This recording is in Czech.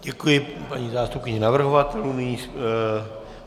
Děkuji paní zástupkyni navrhovatelů.